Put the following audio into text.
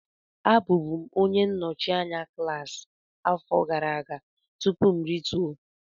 Abụbu m onye nnọchi anya klaasị afọ gara aga tupu m rituo